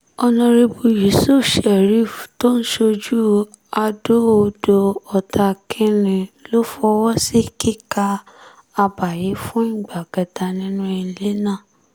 ọ̀nàrẹ́bù yusuf sherif tó ń ṣojú adó-odò-ọ̀tá kìn-ín-ní ló fọwọ́ sí kíka àbá yìí fún ìgbà kẹta nínú ilé náà